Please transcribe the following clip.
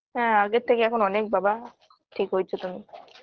হ্যাঁ আগের থেকে এখন অনেক বাবা ঠিক হয়েছে তুমি